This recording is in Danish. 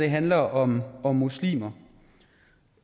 handler om om muslimer